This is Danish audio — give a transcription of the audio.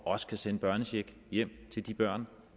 også kan sende børnecheck hjem til de børn